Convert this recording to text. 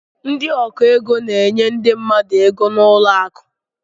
Ndị ọgụ égo n'enye ndị mmadụ égo n'ụlọ akụ.